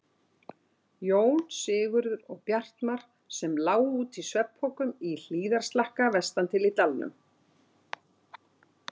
Jón, Sigurður og Bjartmar, sem lágu úti í svefnpokum í hlíðarslakka vestan til í dalnum.